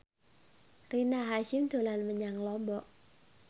Rina Hasyim dolan menyang Lombok